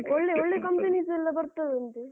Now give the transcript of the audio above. ಒಳ್ಳೆ ಒಳ್ಳೆ companies ಎಲ್ಲ ಬರ್ತದಂತೆ.